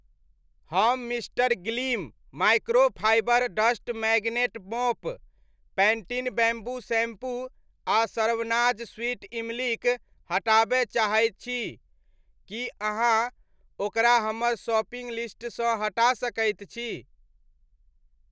हम mister Gleem microfibre dust magnet mop, Pantene bamboo shampoo आ Saravana's sweet इमलीक हटाबय चाहैत छी, की अहाँ ओकरा हमर शॉपिंग लिस्टसँ हटा सकैत छी?